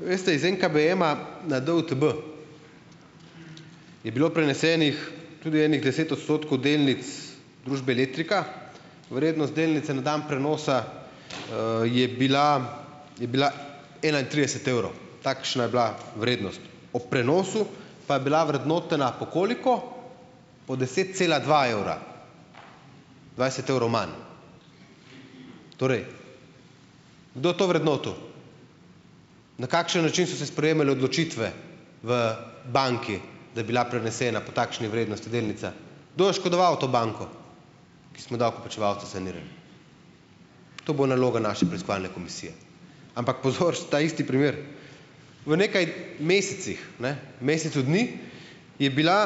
Veste iz NKBM na DUTB je bilo prenesenih tudi ene deset odstotkov delnic družbe Letrika. Vrednost delnice na dan prenosa je bila je bila enaintrideset evrov. Takšna je bila vrednost. O prenosu pa je bila vrednotena - po koliko? - po deset cela dva evra. Dvajset evrov manj. Torej, kdo to vrednotil? Na kakšen način so se sprejemale odločitve v banki, da je bila prenesena po takšni vrednosti delnica? Do je oškodoval to banko, ki smo jo davkoplačevalci sanirali? To bo naloga naše preiskovalne komisije. Ampak pozor, ta isti primer, v nekaj mesecih, ne, mesecu dni je bila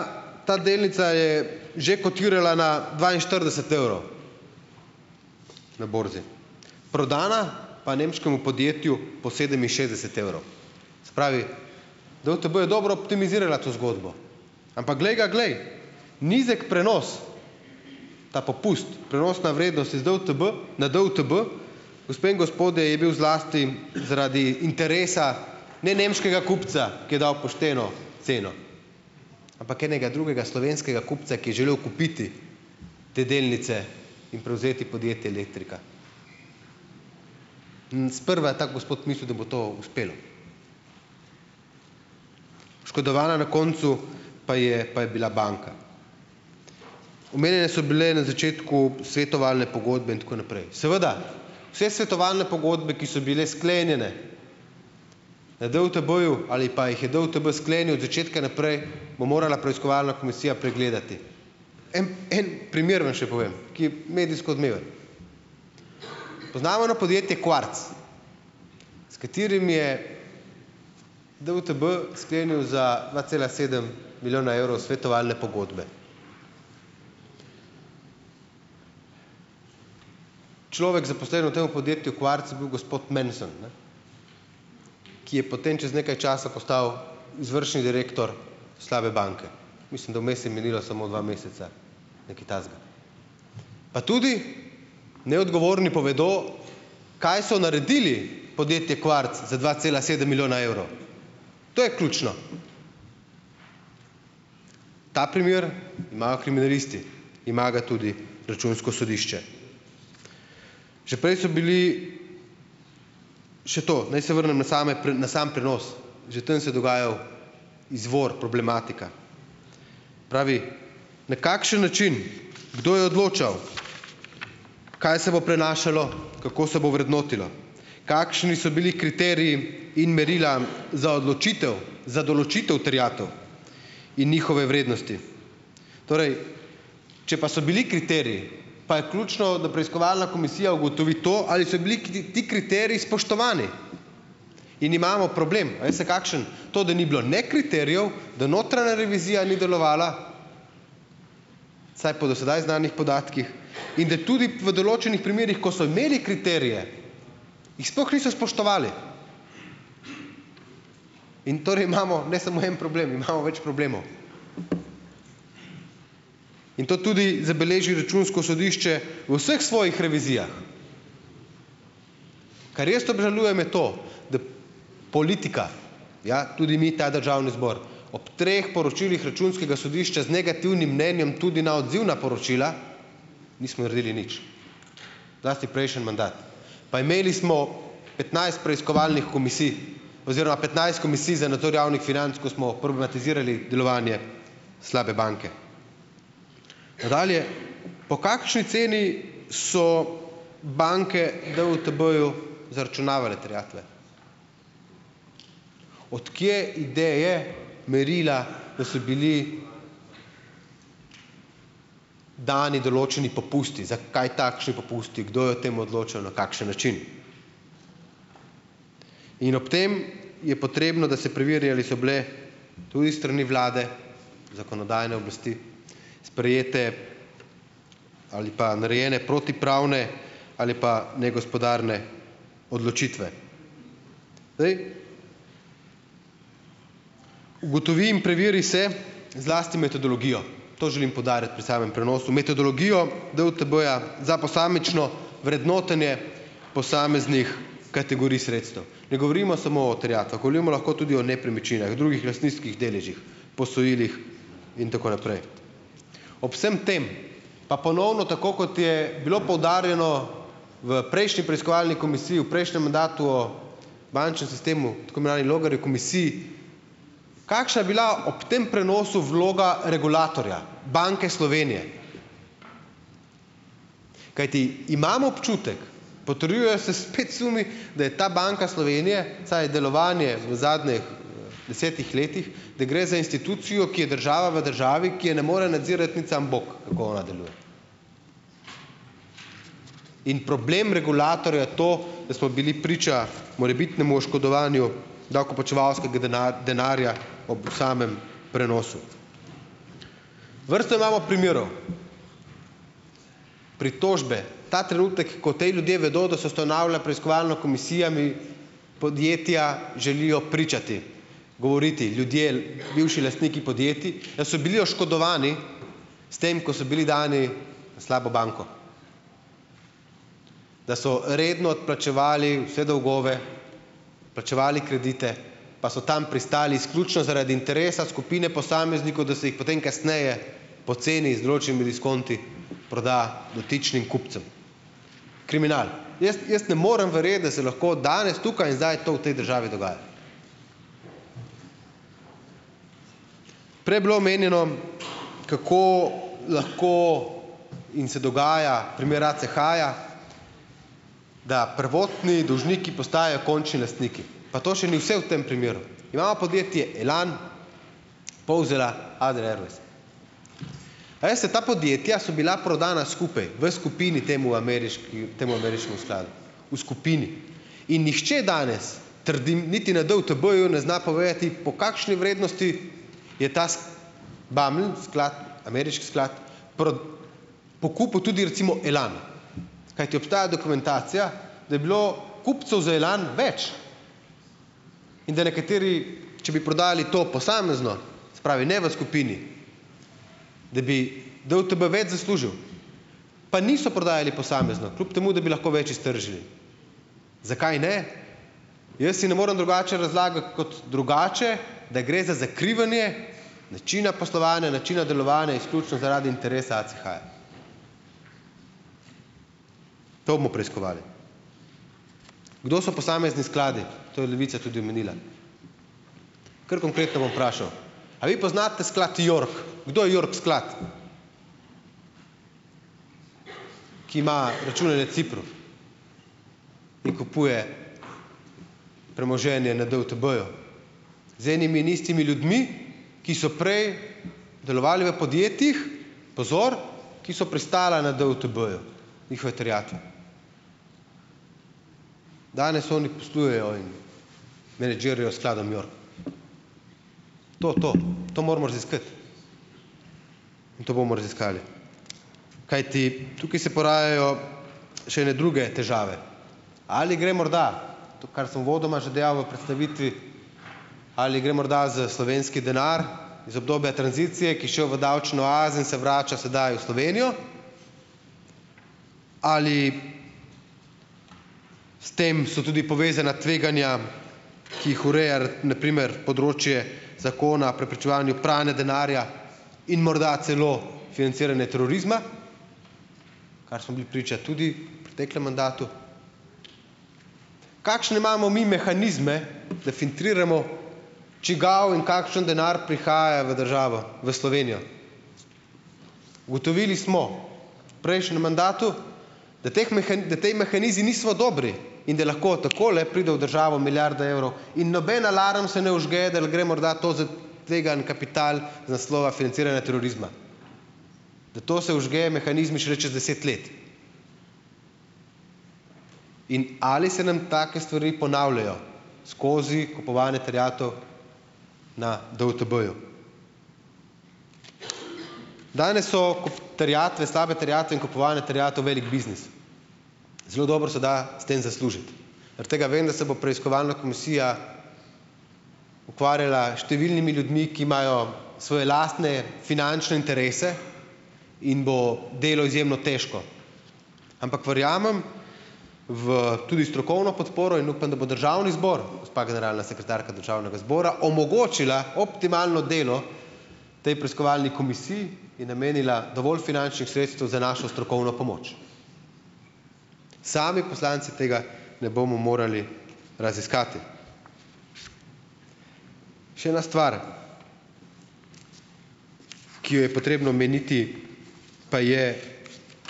ta delnica, je že kotirala na dvainštirideset evrov na borzi. Prodana pa nemškemu podjetju po sedeminšestdeset evrov. Se pravi, DUTB je dobro optimizirala to zgodbo. Ampak glej ga glej, nizek prenos, ta popust, prenosna vrednost iz DUTB na DUTB, gospe in gospodje, je bil zlasti zaradi interesa ne nemškega kupca, ki je dal pošteno ceno, ampak enega drugega slovenskega kupca, ki je želel kupiti te delnice in prevzeti podjetje Letrika. In sprva ta gospod mislil, da bo to uspelo. Oškodovana na koncu pa je pa je bila banka. Omenjene so bile na začetku svetovalne pogodbe in tako naprej. Seveda vse svetovalne pogodbe, ki so bile sklenjene na DUTB-ju ali pa jih je DUTB sklenil od začetka naprej, bo morala preiskovalna komisija pregledati. En en primer vam še povem, ki je medijsko odmeven, poznano podjetje Quartz, s katerim je DUTB sklenil za dva cela sedem milijona evrov svetovalne pogodbe. Človek, zaposlen v tem podjetju Quartz je bil gospod Mansson, ne, ki je potem čez nekaj časa postal izvršni direktor slabe banke. Mislim, da vmes je minilo samo dva meseca, nekaj takega. Pa tudi, ne, odgovorni povedo, kaj so naredili, podjetje Quartz z dva cela sedem milijona evrov to je ključno. Ta primer imajo kriminalisti, ima ga tudi Računsko sodišče. Že prej so bili ... Še to. Naj se vrnem na same na sam prenos, že tam se je dogajal izvor problematika. Pravi, na kakšen način, kdo je odločal kaj se bo prenašalo, kako se bo vrednotilo, kakšni so bili kriteriji in merila za odločitev, za določitev terjatev in njihove vrednosti? Torej, če pa so bili kriteriji, pa je ključno, da preiskovalna komisija ugotovi to, ali so bili ti kriteriji spoštovani in imamo problem, a veste kakšen? To, da ni bilo ne kriterijev, da notranja revizija ni delovala, saj po do sedaj znanih podatkih, in da tudi v določenih primerih, ko so imeli kriterije, jih sploh niso spoštovali. In torej imamo ne samo en problem, imamo več problemov. In to tudi zabeleži Računsko sodišče v vseh svojih revizijah. Kar jaz obžalujem, je to, da politika - ja, tudi mi, ta Državni zbor - ob treh poročilih Računskega sodišča z negativnim mnenjem, tudi na odzivna poročila, nismo naredili nič, zlasti prejšnji mandat pa imeli smo petnajst preiskovalnih komisij oziroma petnajst Komisij za nadzor javnih financ, ko smo problematizirali delovanje slabe banke. Nadalje. Po kakšni ceni so banke DUTB-ju zaračunavale terjatve? Od kje ideje, merila, da so bili dani določeni popusti, zakaj takšni popusti, kdo je o tem odločal, na kakšen način. In ob tem je potrebno, da se preveri, ali so bile tudi s strani vlade, zakonodajne oblasti sprejete ali pa narejene protipravne ali pa negospodarne odločitve. Ugotovim, preveri se zlasti metodologijo, to želim poudarjati pri samem prenosu, metodologijo DUTB-ja za posamično vrednotenje posameznih kategorij sredstev. Ne govorimo samo o terjatvah, govorimo lahko tudi o nepremičninah, drugih lastniških deležih, posojilih in tako naprej. Ob vsem tem pa ponovno tako, kot je bilo poudarjeno v prejšnji preiskovalni komisiji v prejšnjem mandatu o bančnem sistemu, tako imenovani Logarjevi komisiji, kakšna je bila ob tem prenosu vloga regulatorja Banke Slovenije? Kajti, imam občutek, potrjujejo se spet sumi, da je ta Banka Slovenije, saj delovanje v zadnjih desetih letih, da gre za institucijo, ki je država v državi, ki je ne more nadzirati niti samo bog, kako ona deluje. In problem regulatorja to, da smo bili priča morebitnemu oškodovanju davkoplačevalskega denarja ob samem prenosu. Vrsto imamo primerov. Pritožbe, ta trenutek, ko te ljudje vedo, da so ustanavlja preiskovalna komisija, mi podjetja želijo pričati, govoriti, ljudje, bivši lastniki podjetij, da so bili oškodovani s tem, ko so bili dani na slabo banko, da so redno odplačevali vse dolgove, plačevali kredite, pa so tam pristali izključno zaradi interesa skupine posameznikov, da so jih, potem kasneje poceni z določenimi diskonti proda dotičnim kupcem, kriminal. Jaz, jaz ne morem verjeti, da se lahko danes tukaj in zdaj to v tej državi dogaja. Prej je bilo omenjeno, kako lahko in se dogaja primer ACH-ja, da prvotni dolžniki postajajo končni lastniki, pa to še ni vse v tem primeru. Imamo podjetje Elan, Povzela, Adria Airways. A veste, ta podjetja so bila prodana skupaj v skupini temu temu ameriškemu skladu v skupini, in nihče danes, trdim, niti na DUTB-ju ne zna povedati, po kakšni vrednosti je ta ameriški sklad pokupil tudi recimo Elan, kajti obstaja dokumentacija, da je bilo kupcev za Elan več in da nekateri, če bi prodajali to posamezno, se pravi ne v skupini, da bi DUTB več zaslužil, pa niso prodajali posamezno, kljub temu da bi lahko več iztržili. Zakaj ne? Jaz si ne morem drugače razlagati, kot drugače, da gre za zakrivanje načina poslovanja, načina delovanja izključno zaradi interesa ACH-ja. To bomo preiskovali. Kdo so posamezni skladi? To je Levica tudi omenila. Kar konkretno bom vprašal: "A vi poznate sklad York?" Kdo je York sklad, ki ma račune na Cipru in kupuje premoženje na DUTB-ju? Z enimi in istimi ljudmi, ki so prej delovali v podjetjih, pozor, ki so prestala na DUTB-ju, njihove terjatve. Danes oni poslujejo in menedžirajo skladom York. To, to, to moramo raziskati in to bomo raziskali, kajti tukaj se porajajo še ene druge težave. Ali gre morda, to, kar sem uvodoma že dejal v predstavitvi, ali gre morda za slovenski denar iz obdobja tranzicije, ki šel v davčne oaze in se vrača sedaj v Slovenijo? Ali, s tem so tudi povezana tveganja, ki jih ureja na primer področje zakona preprečevanju pranja denarja in morda celo financiranje terorizma, kar smo bili priča tudi preteklem mandatu. Kakšne imamo mi mehanizme, da filtriramo, čigav in kakšen denar prihaja v državo, v Slovenijo. Ugotovili smo v prejšnjem mandatu, da teh da ti mehanizmi niso dobri, in da lahko takole pride v državo milijarda evrov in noben alarm se ne vžge, da gre morda to za tvegani kapital iz naslova financiranja terorizma. Da to se vžgejo mehanizmi šele čez deset let. In ali se nam take stvari ponavljajo skozi kupovanje terjatev na DUTB-ju. Danes so terjatve, slabe terjatve in kupovanje terjatev velik biznis. Zelo dobro se da s tem zaslužiti. Aret tega vem, da se bo preiskovalna komisija ukvarjala številnimi ljudmi, ki imajo svoje lastne finančne interese in bo delo izjemno težko, ampak verjamem v tudi strokovno podporo in upam, da bo Državni zbor, gospa generalna sekretarka Državnega zbora omogočila optimalno delo potem preiskovalni komisiji in namenila dovolj finančnih sredstev za našo strokovno pomoč. Sami poslanci tega ne bomo morali raziskati. Še ena stvar, ki jo je potrebno omeniti, pa je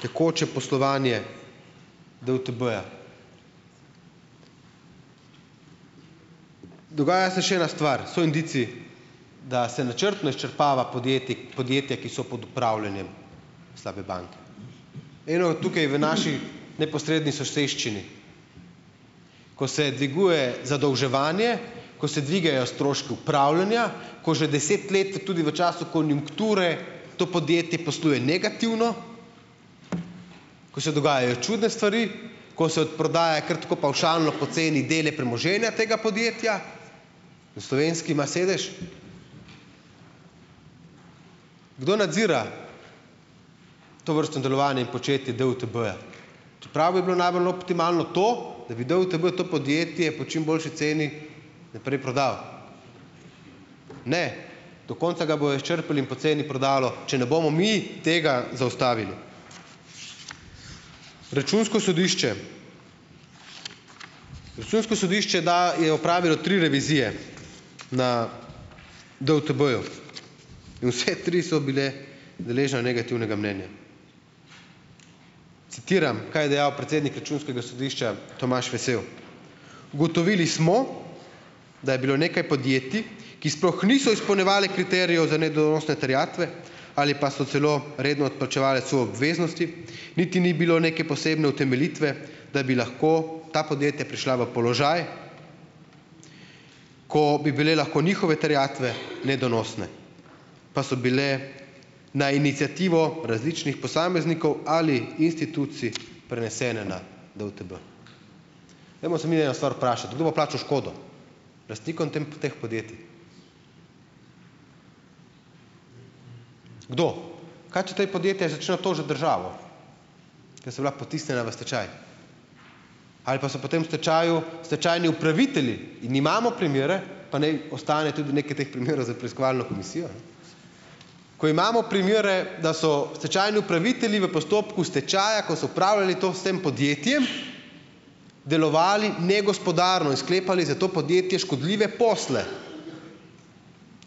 tekoče poslovanje DUTB-ja. Dogaja se še ena stvar, so indici, da se načrtno izčrpava podjetja, ki so pod upravljanjem slabe banke. Eno je tukaj v naši neposredni soseščini, ko se dviguje zadolževanje, ko se dvigajo stroški upravljanja, ko že deset let tudi v času konjunkture to podjetje posluje negativno, ko se dogajajo čudne stvari, ko se odprodaja kar tako pavšalno po ceni dele premoženje tega podjetja, na Slovenski ima sedež. Kdo nadzira tovrstno delovanje in početje DUTB-ja, čeprav bi bilo najbolj optimalno to, da bi DUTB to podjetje po čim boljši ceni naprej prodal. Ne, do konca ga bojo izčrpali in poceni prodalo, če ne bomo mi tega zaustavili. Računsko sodišče. Računsko sodišče, da je opravilo tri revizije na DUTB-ju, in vse tri so bile deležne negativnega mnenja. Citiram, kaj je dejal predsednik Računskega sodišča, Tomaš Vesel. Ugotovili smo, da je bilo nekaj podjetij, ki sploh niso izpolnjevala kriterijev za nedonosne terjatve ali pa so celo redno odplačevala svoje obveznosti, niti ni bilo neke posebne utemeljitve, da bi lahko ta podjetja prišla v položaj, ko bi bile lahko njihove terjatve nedonosne, pa so bile na iniciativo različnih posameznikov ali institucij prenesene na DUTB. Dajmo se mi eno stvar vprašati. Kdo bo plačal škodo lastnikom tem teh podjetij? Kdo? Kaj, če ta podjetja začnejo tožiti državo, ker so bila potisnjena v stečaj ali pa so potem v stečaju stečajni upravitelji. In imamo primere, pa naj ostane tudi nekaj teh primerov za preiskovalno komisijo, ko imamo primere, da so stečajni upravitelji v postopku stečaja, ko so upravljali to s tem podjetjem, delovali negospodarno in sklepali za to podjetje škodljive posle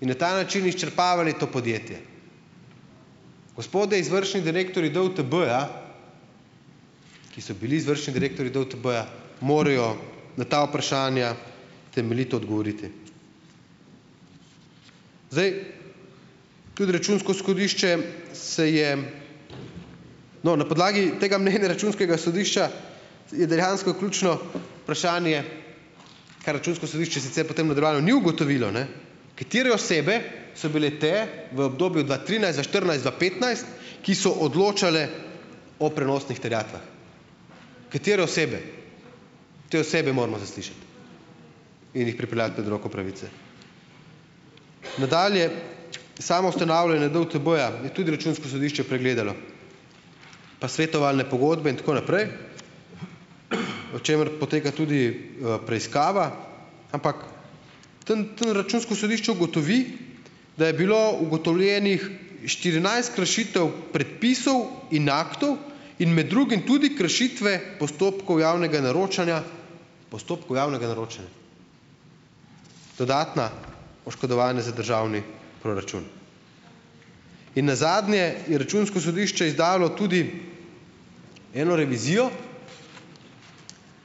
in na ta način izčrpavali to podjetje. Gospodje izvršni direktorji DUTB-ja, ki so bili izvršni direktorji DUTB-ja, morajo na ta vprašanja temeljito odgovoriti. Zdaj, tudi Računsko sodišče se je, no, na podlagi tega mnenja Računskega sodišča je dejansko ključno vprašanje, kar Računsko sodišče sicer potem v nadaljevanju ni ugotovilo, ne, katere osebe so bile te v obdobju dva trinajst, dva štirinajst, dva petnajst, ki so odločale o prenosnih terjatvah? Katere osebe? Te osebe moramo zaslišati in jih pripeljati pred roko pravice. Nadalje , samo ustanavljanje DUTB-ja je tudi Računsko sodišče pregledalo pa svetovalne pogodbe in tako naprej, o čemer poteka tudi preiskava, ampak tam tam Računsko sodišče ugotovi, da je bilo ugotovljenih štirinajst kršitev predpisov in aktov in med drugim tudi kršitve postopkov javnega naročanja, postopkov javnega naročanja. Dodatna oškodovanja za državni proračun. In nazadnje je Računsko sodišče izdalo tudi eno revizijo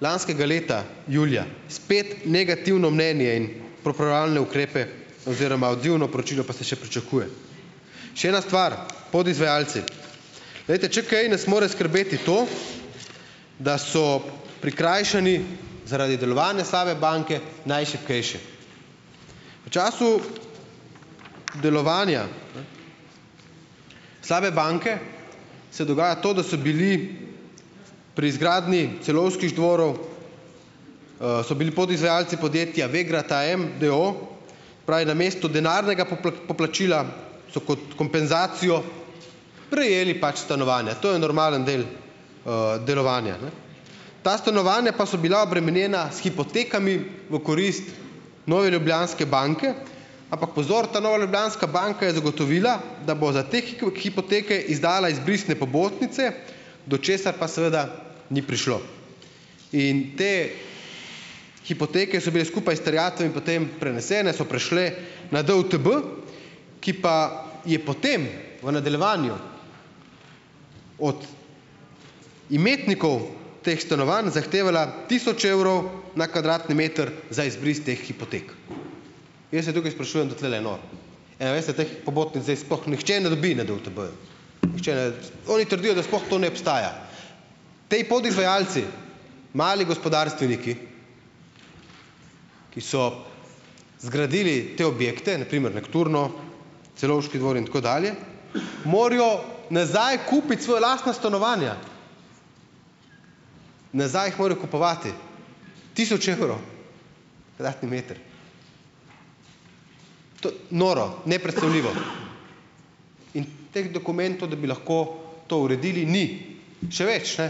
lanskega leta julija, spet negativno mnenje in popravljalne ukrepe, oziroma, odzivno poročilo pa se še pričakuje. Še ena stvar: podizvajalci . Glejte, če kaj, nas mora skrbeti to, da so prikrajšani zaradi delovanja slabe banke, najšibkejši. V času delovanja slabe banke se dogaja to, da so bili pri izgradnji Celovških dvorov so bili podizvajalci podjetja Vegrad AEM d. o. o., pravi namesto denarnega poplačila, so kot kompenzacijo prejeli pač stanovanja. To je normalen del delovanja, ne? Ta stanovanja pa so bila obremenjena s hipotekami v korist Nove Ljubljanske banke, ampak pozor, ta Nova Ljubljanska banka je zagotovila, da bo za te hipoteke izdala izbrisne pobotnice, do česar pa seveda ni prišlo, in te hipoteke so bile skupaj s terjatvami potem prenesene, so prešle na DUTB, ki pa je potem v nadaljevanju od imetnikov teh stanovanj zahtevala tisoč evrov na kvadratni meter za izbris teh hipotek. Jaz se tukaj sprašujem, kdo tulele je nor? In a veste, teh pobotnic zdaj sploh nihče ne dobi na DUTB-ju. Oni trdijo, da sploh to ne obstaja. Ti podizvajalci, mali gospodarstveniki, ki so zgradili te objekte, na primer Nokturno, Celovški dvori in tako dalje, morajo nazaj kupiti svoja lastna stanovanja! Nazaj jih morajo kupovati. Tisoč evrov kvadratni meter. Noro! Neprecenljivo. In teh dokumentov, da bi lahko to uredili, ni! Še več, ne.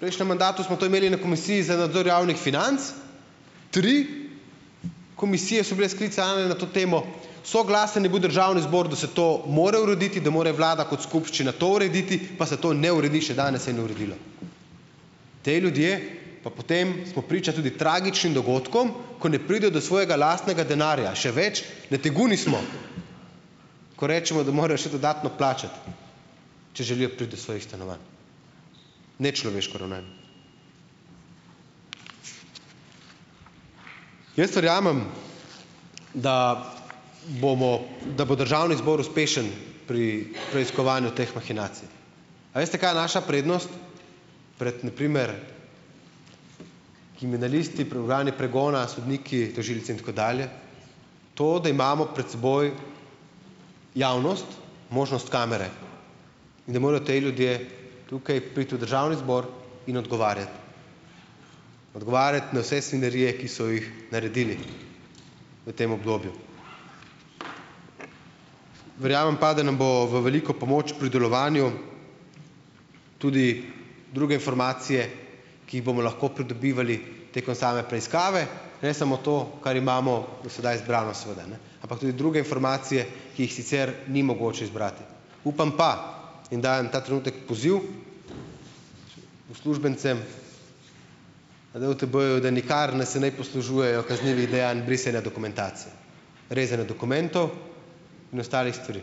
Prejšnjem mandatu smo to imeli na Komisiji za nadzor javnih financ. Tri komisije so bile sklicane na to temo, soglasen je bil Državni zbor, da se to mora urediti, da more Vlada kot skupščina to urediti, pa se to ne uredi, še danes se ni uredilo. Ti ljudje pa potem, smo priča tudi tragičnim dogodkom, ko ne pridejo do svojega lastnega denarja. Še več! Nateguni smo, ko rečemo, da morajo še dodatno plačati, če želijo priti do svojih stanovanj. Nečloveško ravnanje. Jaz verjamem, da bomo, da bo Državni zbor uspešen pri preiskovanju teh mahinacij. A veste kaj je naša prednost pred, na primer kriminalisti, organi pregona, sodniki, tožilci in tako dalje? To, da imamo pred seboj javnost, možnost kamere, in da morajo ti ljudje tukaj priti v Državni zbor in odgovarjati, odgovarjati na vse svinjarije, ki so jih naredili v tem obdobju. Verjamem pa, da nam bo v veliko pomoč pri delovanju tudi druge formacije, ki jih bomo lahko pridobivali tekom same preiskave, ne samo to, kar imamo do sedaj zbrano, seveda, ne ampak tudi druge informacije, ki jih sicer ni mogoče zbrati. Upam pa in dajem ta trenutek poziv uslužbencem na DUTB-ju, da nikar ne se ne poslužujejo kaznivih dejanj brisanja dokumentacije, rezanja dokumentov in ostalih stvari.